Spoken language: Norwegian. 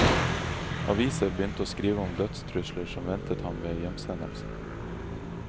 Aviser begynte å skrive om dødstrusler som ventet ham ved hjemsendelse.